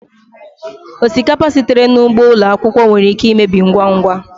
Osikapa sitere n'ugbo ụlọ akwụkwọ nwere ike imebi ngwa ngwa